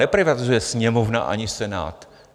Neprivatizuje Sněmovna ani Senát.